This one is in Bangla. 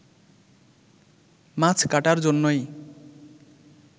মাছ কাটার জন্যই